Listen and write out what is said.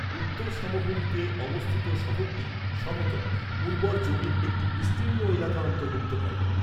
উত্তর সমভূমিতে অবস্থিত শহরটি সমতল, উর্বর জমির একটি বিস্তীর্ণ এলাকা অন্তর্ভুক্ত করে।